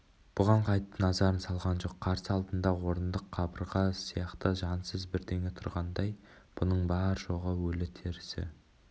бұған қайтып назар салған жоқ қарсы алдында орындық қабырға сияқты жансыз бірдеңе тұрғандай бұның бар-жоғы өлі-тірісі